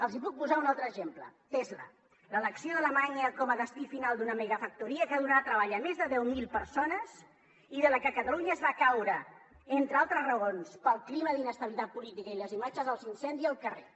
els puc posar un altre exemple tesla l’elecció d’alemanya com a destí final d’una megafactoria que donarà treball a més de deu mil persones i de la que catalunya va caure entre altres raons pel clima d’inestabilitat política i les imatges dels incendis al carrer